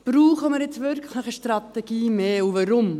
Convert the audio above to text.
Brauchen wir jetzt wirklich eine Strategie mehr und weshalb?